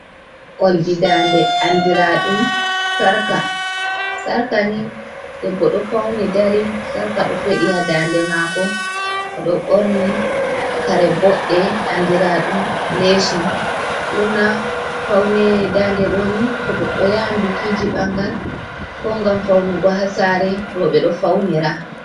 Olji dande andira ɗum sarqa, sarqa ni debbo ɗo fauni dari sarqa ɗo feɗi ha dande maako. Oɗo ɓorni kare boɗɗe andira ɗum leshin, ɓurna paune dande ɗo ni to goɗɗo yahan bikiji ɓangal ko ngam faunugo ha sare rooɓe ɗo faunira.